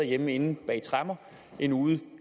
hjemme inde bag tremmer end ude